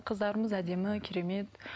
қыздарымыз әдемі керемет